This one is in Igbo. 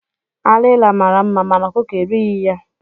Alila mara mma mana ọkụkọ erighi ya.